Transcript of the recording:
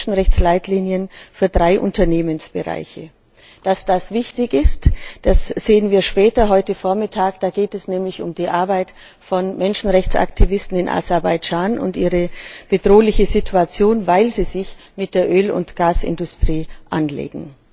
die Menschenrechtsleitlinien für drei Unternehmensbereiche. Dass das wichtig ist, sehen wir später heute Vormittag, da geht es nämlich um die Arbeit von Menschenrechtsaktivisten in Aserbaidschan und ihre bedrohliche Situation, weil sie sich mit der Öl und Gasindustrie anlegen.